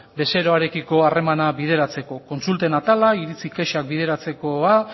bezeroarekiko harremana bideratzeko kontsulten atala iritzi kexak bideratzeko